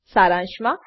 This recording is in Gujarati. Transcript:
સારાંશ માં